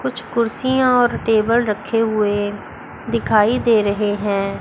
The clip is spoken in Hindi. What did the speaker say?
कुछ कुर्सियां और टेबल रखे हुए दिखाई दे रहे हैं।